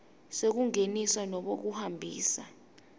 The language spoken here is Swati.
sekungenisa nobe kuhambisa